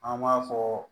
An b'a fɔ